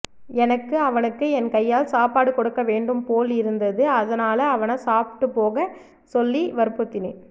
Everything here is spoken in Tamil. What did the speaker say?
எனக்கு அவனுக்கு என் கையால் சாப்பாடு கொடுக்க வேண்டும் போல் இருந்தது அதனால அவனை சாப்பிட்டு போக சொல்லி வற்புரித்தேன்